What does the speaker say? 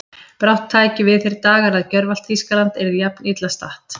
brátt tækju við þeir dagar að gjörvallt Þýskaland yrði jafn illa statt.